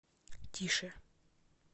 тише